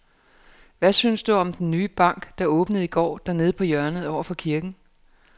Hvad synes du om den nye bank, der åbnede i går dernede på hjørnet over for kirken?